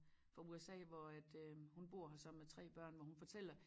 Fra USA hvor at øh hun bor her sammen med 3 børn hvor hun fortæller